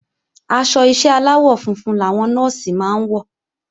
Aṣọ ìṣe aláwọ̀ funfun làwọn Nọ́ọ̀sì máa ń wọ̀